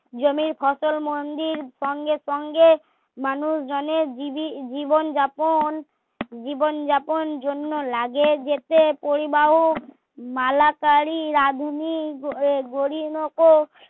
জমির ফসল মন্দির সঙ্গে সঙ্গে মানুষ জনের জিবি জীবন যাপন জীবন যাপন জন্য লাগে যেতে পরিবাহক মালাকারী রাঁধুনি গোরিনোকো